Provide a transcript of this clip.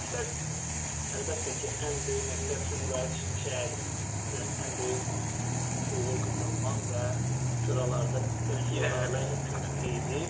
Məqsəd məqsəd əlbəttə ki, ən böyük məqsəd Sumqayıt şəhər üçün ən böyük uğur qazanmaq və sıralarda ön sıra irəliləmək mümkün qədər idi.